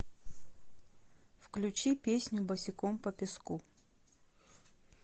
включи песню босиком по песку